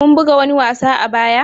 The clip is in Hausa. kun buga wani wasa a baya?